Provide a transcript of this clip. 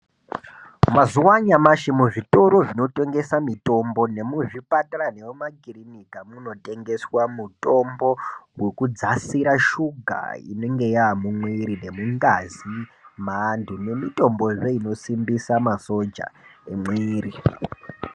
Mazuva anyamashi muzvitoro zvinotengesa mitombo nemuzvipatara nemumakirinika munotengeswa mutombo wekudzasira shuga inenge yamumwiri nemungazi maantu nemitombozve inosimbisa masoja emwiri.